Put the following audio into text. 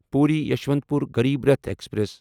Puri Yesvantpur Garib Rath express